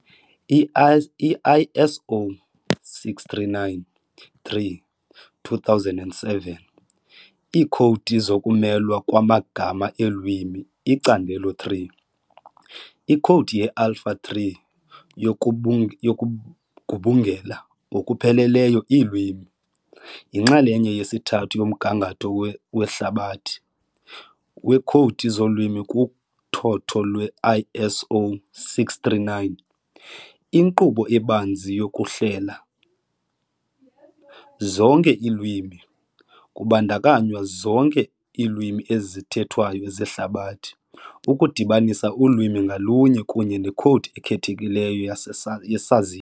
I-ISO 639-3- 2007, Iikhowudi zokumelwa kwamagama eelwimi-Icandelo 3- Ikhowudi ye-Alpha-3 yokubu yokugubungela ngokupheleleyo iilwimi, yinxalenye yesithathu yomgangatho "wehlabathi" weekhowudi zolwimi kuthotho lwe-ISO 639, inkqubo ebanzi yokuhlela. zonke iilwimi, kubandakanywa zonke iilwimi ezithethwayo zehlabathi, ukudibanisa ulwimi ngalunye kunye nekhowudi ekhethekileyo yasesa yesazisi.